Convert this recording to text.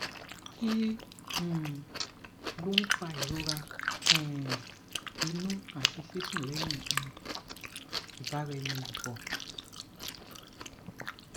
kí um ló ń fa ìrora um inú àti sísun lẹyìn um ìbara eni lopo